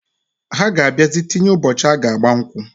Ha ga abiazi tinye ụbọchi aga agba nkwu.